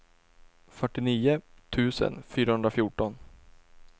fyrtionio tusen fyrahundrafjorton